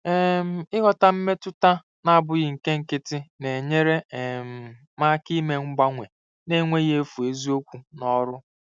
um Ịghọta mmetụta na-abụghị nke nkịtị na-enyere um m aka ime mgbanwe n'enweghị efu eziokwu n'ọrụ.